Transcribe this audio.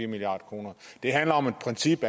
milliard kroner det handler om et princip